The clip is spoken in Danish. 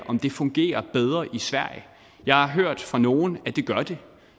om det fungerer bedre i sverige jeg har hørt fra nogen at det gør det